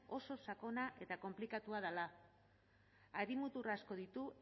oso sakona eta konplikatua dela hari mutur asko ditu